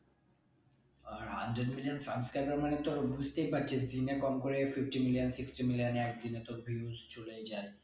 আর আটজন দুজন subscriber মানে তোর বুঝতেই পারছিস দিনে কম করে fifty million sixty million একদিন এ তোর views চলেই যাই